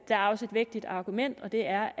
der er også et vægtigt argument og det er